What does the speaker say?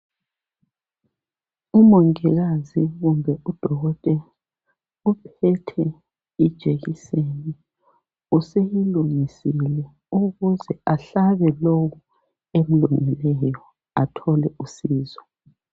Umongikazi kumbe udokotela uphethe ijekiseni useyilungisile ukuze ahlabe lowo emlungeleyo athole usizo